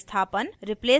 replacement यानी बदलना और